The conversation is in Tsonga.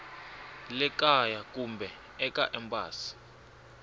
le kaya kumbe eka embasi